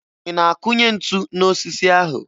Ị na-akụnye ntu n'osisi ahụ?